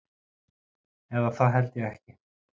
Eða það held ég ekki.